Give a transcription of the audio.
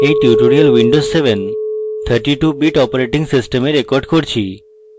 এই tutorial windows 732bit operating system a record করছি